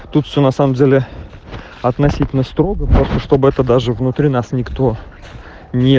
тут все на самом деле относительно строго просто чтобы это даже внутри нас никто не